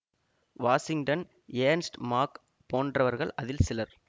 Washington Ernst Mach போன்றவர்கள் அதில் சிலர்